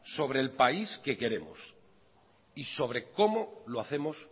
sobre el país que queremos y sobre cómo lo hacemos